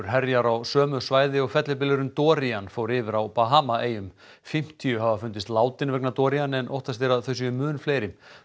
herjar á sömu svæði og fellibylurinn fór yfir á Bahama eyjum fimmtíu hafa fundist látin vegna Dorian en óttast er að þau séu mun fleiri